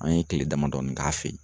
An ye kile damadɔni k'a fe yen